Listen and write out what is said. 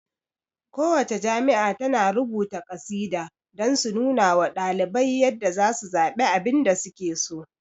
Ku wacce jami'a tana rubuta kasida don su nunawa ɗalibai yadda zasu zaɓe abinda suke so